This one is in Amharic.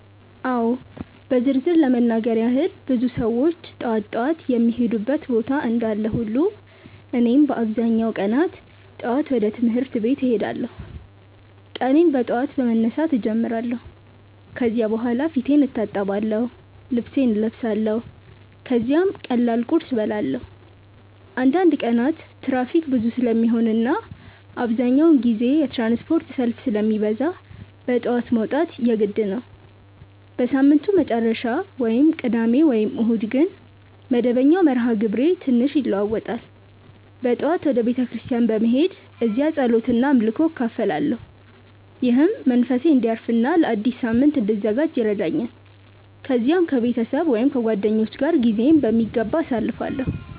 አዎ በዝርዝር ለመናገር ያክል ብዙ ሰዎች ጠዋት ጠዋት የሚሄዱበት ቦታ እንዳለ ሁሉ እኔም በአብዛኛው ቀናት ጠዋት ወደ ትምህርት ቤት እሄዳለሁ። ቀኔን በጠዋት በመነሳት እጀምራለሁ ከዚያ በኋላ ፊቴን እታጠብአለሁ፣ ልብሴን እለብሳለሁ ከዚያም ቀላል ቁርስ እበላለሁ። አንዳንድ ቀናት ትራፊክ ብዙ ስለሚሆን እና አብዛኛውን ጊዜ የትራንስፖርት ሰልፍ ስለሚበዛ በጠዋት መውጣት የግድ ነው። በሳምንቱ መጨረሻ (ቅዳሜ ወይም እሁድ) ግን መደበኛው መርሃ ግብሬ ትንሽ ይለዋዋጣል። በጠዋት ወደ ቤተ ክርስቲያን በመሄድ እዚያ ጸሎት እና አምልኮ እካፈላለሁ፣ ይህም መንፈሴን እንዲያርፍ እና ለአዲስ ሳምንት እንድዘጋጅ ይረዳኛል። ከዚያም ከቤተሰብ ወይም ከጓደኞች ጋር ጊዜዬን በሚገባ አሳልፋለሁ።